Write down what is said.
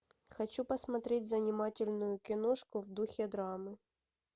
хочу посмотреть занимательную киношку в духе драмы